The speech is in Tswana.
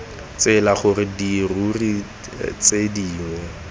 tsela gore dirori tse dingwe